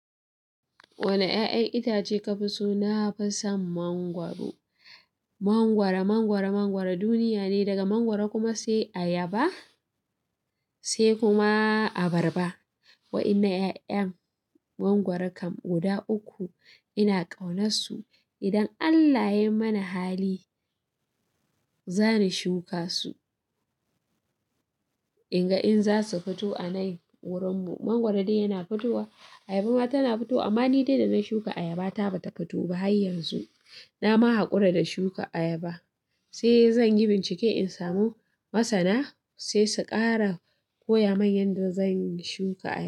Wane 'ya'yan itace kafi so? Na fi son mangwaro. Mangwaro, mangwaro, mangwaro duniya ne, daga mangwaro kuma sai ayaba sai kuma abarba. Wa'ennan 'ya'yan mangwaro kam guda uku ina ƙaunarsu. Idan Allah ya yi mana hali, zani shuka su in ga in za su fito a nan wurin mu. Mangwaro dai yana fitowa, ayaba ma tana fito amma ni dai da na shuka ayaba ta ba ta fito ba har yanzu. Na ma haƙura da shuka ayaba, sai zan yi bincike in samu masana sai su kara koya min yanda zan shuka ayaba.